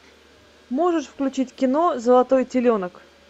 можешь включить кино золотой теленок